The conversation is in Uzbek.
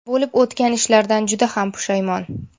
Bo‘lib o‘tgan ishlardan juda ham pushaymon.